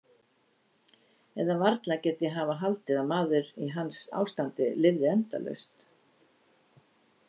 Eða varla get ég hafa haldið að maður í hans ástandi lifði endalaust?